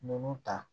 Ninnu ta